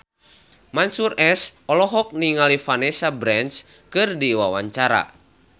Mansyur S olohok ningali Vanessa Branch keur diwawancara